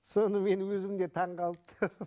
соны мен өзім де таңғалып